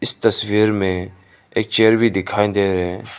इस तस्वीर में एक चेयर भी दिखाई दे रहे--